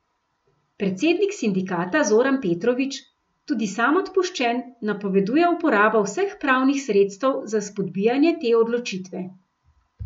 Predsednik sindikata Zoran Petrovič, tudi sam odpuščen, napoveduje uporabo vseh pravnih sredstev za spodbijanje te odločitve.